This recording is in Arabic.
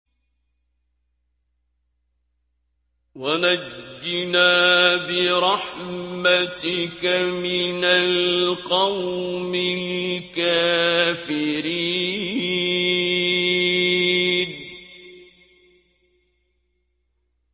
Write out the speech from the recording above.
وَنَجِّنَا بِرَحْمَتِكَ مِنَ الْقَوْمِ الْكَافِرِينَ